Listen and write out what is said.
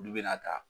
Olu bɛna ta